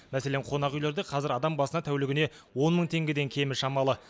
мәселен қонақ үйлерде қазір адам басына тәулігіне он мың теңгеден кемі шамалы